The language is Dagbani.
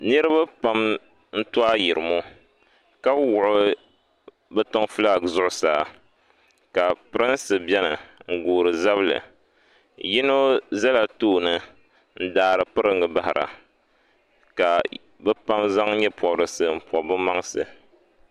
Niriba pam n to ayirimo ka wuɣi bɛ tiŋ filaaki zuɣusaa ka pirinsi biɛni n goori zabli yino zala tooni n daari piringa bahira ka bɛ pam zaŋ nyɛ'pobrisi m pobi bɛ maŋsi.